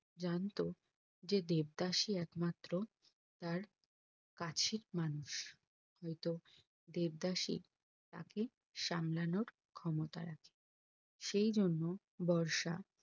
জানতো যে দেবদাস ই একমাত্র তার কাছের মানুষ দেবদাস ই তাকে সামলানোর ক্ষমতা রাখে সেই জন্য বর্ষা